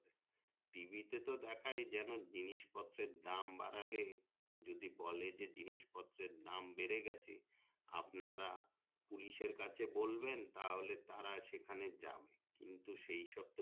TV তো দেখায় যেন জিনিসপত্রের দাম বাড়ালে যদি বলে যে জিনিস পত্রের দাম বেড়ে গেছে আপনারা police এর কাছে বলবেন তাহলে তারা সেখানে যাবে কিন্তু সে সব তো